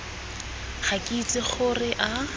ga ke itse gore a